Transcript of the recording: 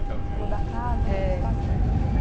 Você falou da casa, eh, mas o espaço era grande?